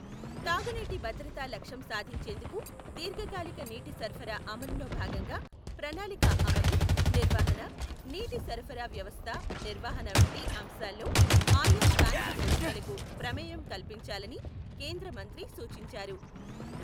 తాగునీటి భద్రతా లక్ష్యం సాధించేందుకు దీర్ఘకాలిక నీటి సరఫరా అమలులో భాగంగా ప్రణాళిక అమలు, నిర్వహణ, నీటి సరఫరా వ్యవస్థ నిర్వహణ వంటి అంశాల్లో ఆయా స్థానిక సంస్థలకు ప్రమేయం కల్పించాలని కేంద్ర మంత్రి సూచించారు